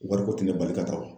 Wariko tɛ ne bali ka taa o